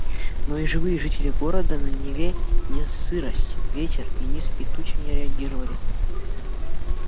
но и живые жители города на неве не сырость ветер и низкие тучи не реагировали